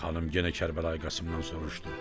Xanım yenə Kərbəlayı Qasım`dan soruşdu.